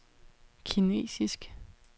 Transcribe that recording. kinesisk